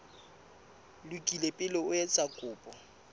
lokile pele o etsa kopo